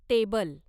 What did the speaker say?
table